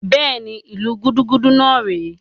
Bẹ́ẹ̀ni, ìlu gúdúgúdú náà rè é